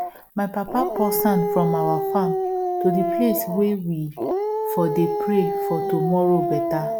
my papa pour sand from our farm to the place way we for dey pray for tomorrow better